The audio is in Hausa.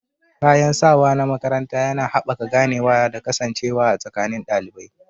Kayan sawa na makaranta yana haɓaka ganewa da kasancewa a tsakanin ɗalibai.